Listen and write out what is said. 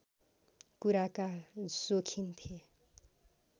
कुराका सोखिन थिए